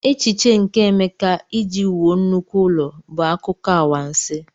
Echiche nke Emeka iji wuo nnukwu ụlọ bụ akụkọ anwansi..